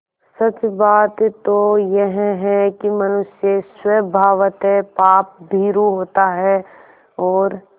सच बात तो यह है कि मनुष्य स्वभावतः पापभीरु होता है और